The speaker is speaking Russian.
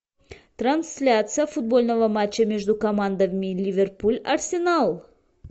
трансляция футбольного матча между командами ливерпуль арсенал